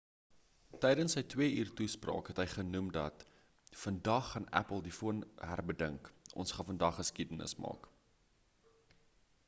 tydens sy 2 uur toespraak het hy genoem dat vandag gaan apple die foon herbedink ons gaan vandag geskiedenis maak